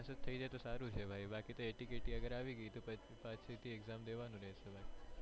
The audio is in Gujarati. થઇ જાય તો સારું છે ભાઈ બાકી તો ATKT અગર આવી ગઈ તો પાછળ થી exam દેવાનુ રેહશે ભાઈ.